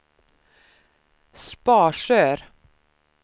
Sparsör